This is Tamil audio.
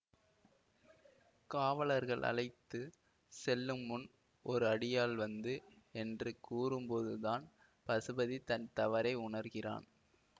காவலர்கள் அழைத்து செல்லும்முன் ஒரு அடியாள் வந்து என்று கூறும்போது தான் பசுபதி தன் தவறை உணர்கிறான்